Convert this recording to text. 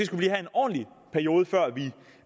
ordentlig periode før